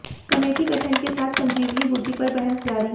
committee गठन के साथ ही संजीवनी बूटी पर बहस जारी